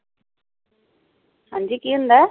ਹਾਂ ਜੀ ਕੀ ਹੁੰਦਾ ਹੈ?